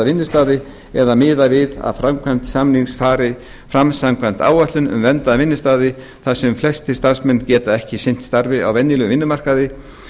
vinnustaði eða miða við að framkvæmd samnings fari fram samkvæmt áætlun um verndaða vinnustaði þar sem flestir starfsmenn geta ekki sinnt starfi á venjulegum vinnumarkaði